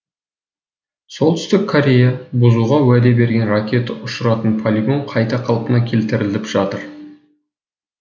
солтүстік корея бұзуға уәде берген ракета ұшыратын полигон қайта қалпына келтіріліп жатыр